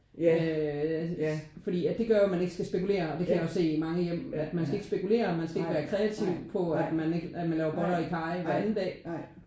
Øh ja fordi at det gør jo man ikke skal spekulere og det kan jeg jo se i mange i hjem. Man skal ikke spekulere man skal ikke være kreativ på at man ikke at man laver boller i karry hver anden dag